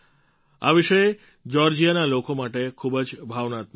આ વિષય જ્યૉર્જિયાના લોકો માટે ખૂબ જ ભાવનાત્મક છે